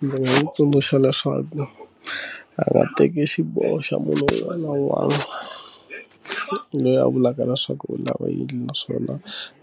Ndzi nga n'wi tsundzuxa leswaku a nga teki xiboho xa munhu un'wana na un'wana loyi a vulaka leswaku u lava endli naswona